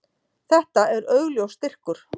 Þetta er augljós styrkur.